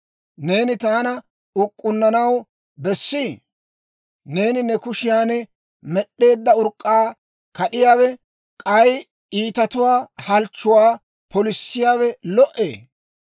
Neeni taana uk'k'unnanaw bessii? Neeni ne kushiyan med'd'eedda uraa kad'iyaawe, k'ay iitatuwaa halchchuwaa polissiyaawe lo"ee?